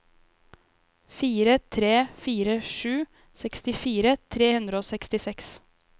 fire tre fire sju sekstifire tre hundre og sekstiseks